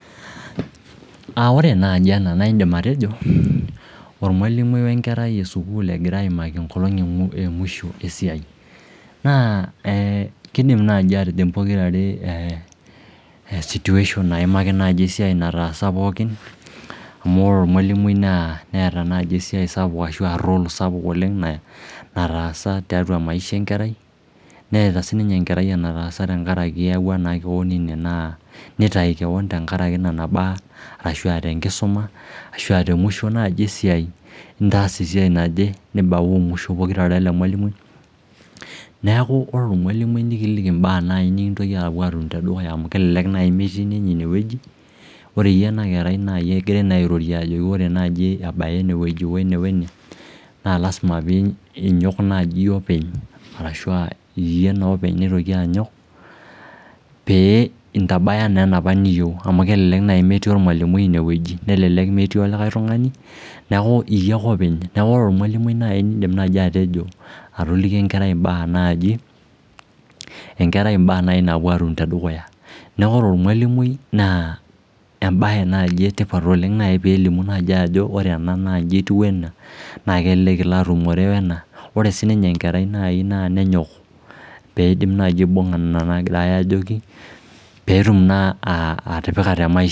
Ore naji ena naidim atejo ormwalimui we nkerai esukuul egira aimaki engolong' emusho esiai Naa kiidim naji atijing pokira are situation naimaki esiai nataasa pookin amu ore ormwalimui neeta nai role naichagua oleng nataasa tiatua maisha enkerai neeta siininye enkerai enataasa tenkarakin eyawua naa keon ine nitayu keon tengaraki imbaa arashu aa tengusuma ashu aa temusho nai esiai itaasa esiai naje nibauu musho pokira are wele mwalimui neeku ore ormwalimui nekiliki imbaa nikintoki naai apuo arik teneduya amu ebiki nemetii ninye ineweji ore iyie ena kerai naa iyie egirai airorie ajoki ore naji ebaya eneweji wene wene naa lasima piinyok openy arashu aa iyie naa openy oitoki anyok pee intabaya naa enopa niyieu amu kelelek nai metii ormwalimui ine wueji nelelek metii olikai tungani neeku iyie ake openy niaku ore ormwalimui tenidim naiji atejo atoliki enkerai imbaa naaji Enkerai imbaa naaji naapuo atum tedukuya neeku ore ormwalimui naa embaye naji etipat oleng peelimuni naaji ajo ore naa nji etiu wena naa kelelek nai ilo atumore wena ore siiniye nai naa nenyok peedim nai aibung'a nena naagirai ajoki peetum naa atipika te maisha